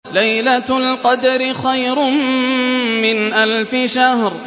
لَيْلَةُ الْقَدْرِ خَيْرٌ مِّنْ أَلْفِ شَهْرٍ